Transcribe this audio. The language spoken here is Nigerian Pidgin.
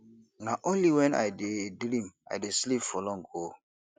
na only wen i dey dream i dey sleep for long o